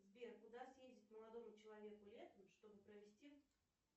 сбер куда съездить молодому человеку летом чтобы провести